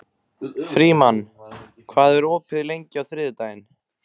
Frímann, hvað er opið lengi á þriðjudaginn?